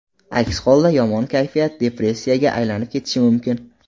Aks holda, yomon kayfiyat depressiyaga aylanib ketishi mumkin.